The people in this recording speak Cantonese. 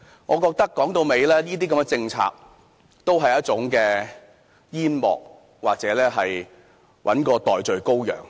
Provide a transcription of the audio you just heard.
我認為這些政策都是一種煙幕，或是要找一個代罪羔羊。